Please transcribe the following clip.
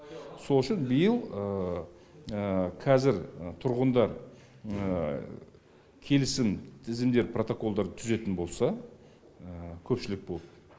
сол үшін биыл қазір тұрғындар келісім тізімде протоколдар түзетін болса көпшілк болып